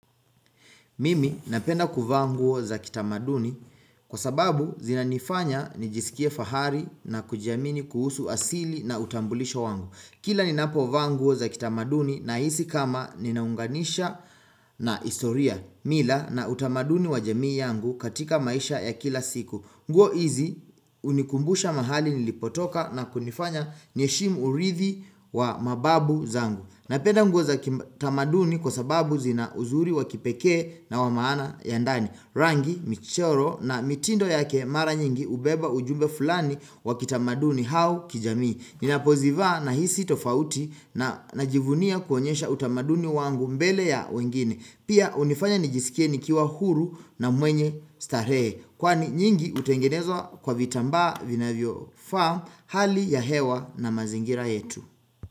Mimi napenda kuvaa nguo za kitamaduni kwa sababu zinanifanya nijisikie fahari na kujiamini kuhusu asili na utambulisho wangu. Kila ni napo vaa nguo za kitamaduni na hisi kama ninaunganisha na historia mila na utamaduni wa jamii yangu katika maisha ya kila siku. Nguo hizi hunikumbusha mahali nilipotoka na kunifanya ni heshimu urithi wa mababu zangu. Napenda nguo za kitamaduni kwa sababu zina uzuri wakipekee na wamaana ya ndani. Rangi, michoro na mitindo yake mara nyingi hubeba ujumbe fulani wakitamaduni au kijamii. Ninapozivaa na hisi tofauti na najivunia kuonyesha utamaduni wangu mbele ya wengine. Pia unifanya nijisikie nikiwa huru na mwenye starehe. Kwani nyingi hutengenezwa kwa vitambaa vinavyofaa hali ya hewa na mazingira yetu.